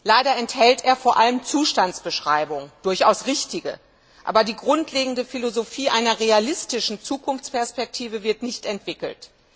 Leider enthält er vor allem Zustandsbeschreibungen, durchaus richtige, aber die grundlegende Philosophie einer realistischen Zukunftsperspektive wird nicht entwickelt.